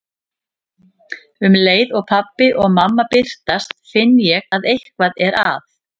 Um leið og pabbi og mamma birtast finn ég að eitthvað er að.